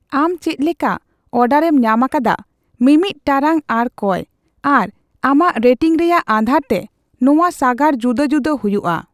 ᱟᱢ ᱪᱮᱫᱞᱮᱠᱟ ᱚᱰᱟᱨᱮᱢ ᱧᱟᱢ ᱟᱠᱟᱫᱟ ( ᱢᱤᱢᱤᱫ ᱴᱟᱲᱟᱝ ᱟᱨ ᱠᱚᱭ ) ᱟᱨ ᱟᱢᱟᱜ ᱨᱮᱴᱤᱝ ᱨᱮᱭᱟᱜ ᱟᱫᱷᱟᱨ ᱛᱮ ᱱᱚᱣᱟ ᱥᱟᱜᱟᱲ ᱡᱩᱫᱟᱹᱼᱡᱩᱫᱟᱹ ᱦᱩᱭᱩᱜᱼᱟ ᱾